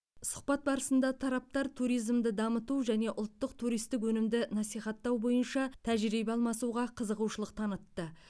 сұхбат барысында тараптар туризмді дамыту және ұлттық туристік өнімді насихаттау бойынша тәжірибе алмасуға қызығушылық танытты